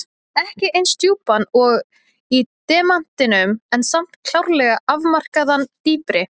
Ekki eins djúpan og í demantinum en samt klárlega afmarkaðan dýpri.